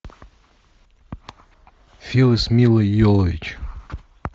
фильм с милой йовович